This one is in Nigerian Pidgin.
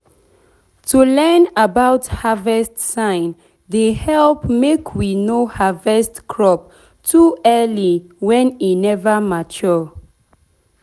to learn about about harvest sign dey help make we no harvest crop too early when e never mature.